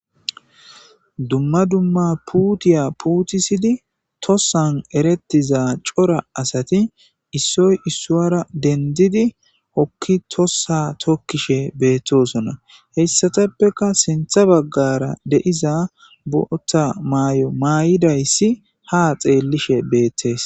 Dumma dumma puuthiyaa puuthissidi thossan ereththizza cora asathi issoy issuwaara denddidi hokki thossaa thokkishee beeththoosona; heyssathappekka sinththa baggaara de7iza booththa maayo mayida isi haa xeellishee beeththees.